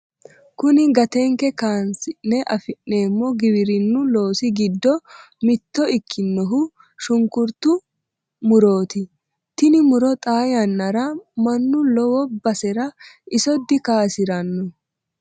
kuni gattenke kaasi'ne afi'neemo giwirinnu loosi giddo mitto ikkinohu shunkurtu murooti tini muro xaa yannara mannu lowo basera isso dikaasiranno.